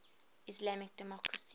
islamic democracies